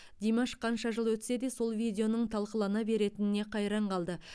димаш қанша жыл өтсе де сол видеоның талқылана беретініне қайран қалды